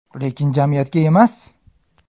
Lekin jamiyatga emas.